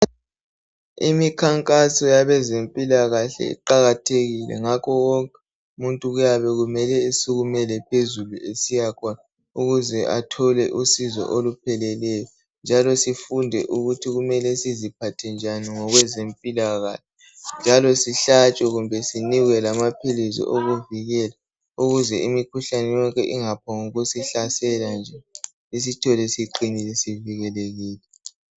Imikhankaso yabezempilakahle iqakathekile ngakho wonke umuntu kuyabe kumele esukumele phezulu esiyakhona ukuze athole usizo olupheleleyo njalo sifunde ukuthi kumele siziphathe njani ngokwezempilakahle njalo sihlatshwe kumbe sinikwe lamaphilisi okuvikela ukuze imikhuhlane yonke ingaphombukusihlasela nje isithole siqinile sivikelekile